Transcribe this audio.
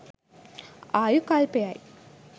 ආයු කල්පය යි.